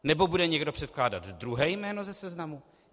Nebo bude někdo předkládat druhé jméno ze seznamu?